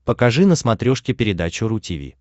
покажи на смотрешке передачу ру ти ви